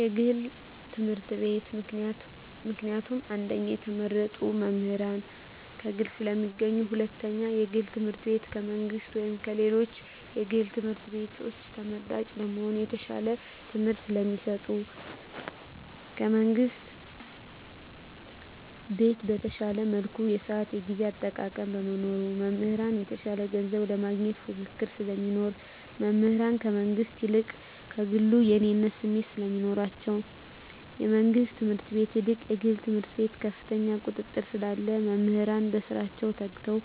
የግል ትምህርት ቤት። ምክንያቱም አንደኛ የተመረጡ መምህራን ከግል ስለሚገኙ ሁለተኛ የግል ትምህርት ቤቱ ከመንግስት ወይም ከሌሎች የግል ትምህርት ቤቶች ተመራጭ ለመሆን የተሻለ ትምህርት ስለሚሰጡ። ከመንግስት ትምህርት ቤት በተሻለ መልኩ የስአት የጊዜ አጠቃቀም በመኖሩ። መምህራን የተሻለ ገንዘብ ለማግኘት ፉክክር ስለሚኖር። መምህራን ከመንግስት ይልቅ ከግሉ የእኔነት ስሜት ስለሚኖራቸዉ። ከመንግስት ትምህርት ቤት ይልቅ የግል ትምህርት ቤት ከፍተኛ ቁጥጥር ስላለ መምህራን በስራቸዉ ተግተዉ